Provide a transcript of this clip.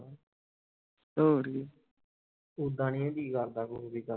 ਹੋਰ ਕੀ ਓਦਾ ਨੀ ਜੀਅ ਕਰਦਾ ਕੋਈ ਵੀ ਕੰਮ